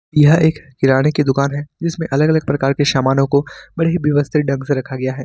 यह एक किराने की दुकान है जिसमें अलग अलग प्रकार के सामानों को बड़े ही व्यवस्थित ढंग से रखा गया है।